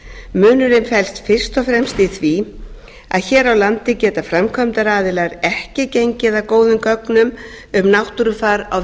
munurinn felst fyrst og fremst í því að hér á landi geta framkvæmdaraðilar ekki gengið að góðum gögnum um náttúrufar á